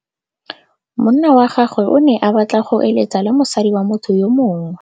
Monna wa gagwe o ne a batla go êlêtsa le mosadi wa motho yo mongwe.